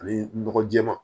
Ani nɔgɔ jɛɛma